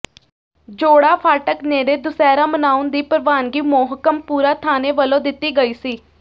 ਜੋੜਾ ਫਾਟਕ ਨੇੜੇ ਦੁਸਿਹਰਾ ਮਨਾਉਣ ਦੀ ਪ੍ਰਵਾਨਗੀ ਮੋਹਕਮਪੁਰਾ ਥਾਣੇ ਵਲੋਂ ਦਿਤੀ ਗਈ ਸੀ